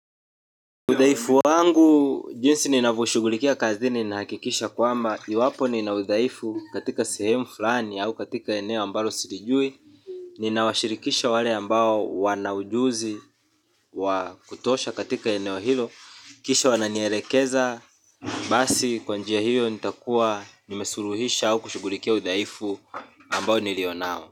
Udaifu wangu, jinsi ninavyo shugulikia kazini nina hakikisha kwamba, iwapo nina udhaifu katika sehemu fulani au katika eneo ambalo silijui. Ninawashirikisha wale ambao wanaujuzi wakutosha katika eneo hilo. Kisha wananielekeza, basi kwanjia hiyo nitakuwa nimesuluhisha au kushugulikia udhaifu ambao nilionao.